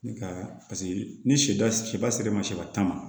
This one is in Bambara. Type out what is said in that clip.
Ne ka paseke ni sɛba sera tan ma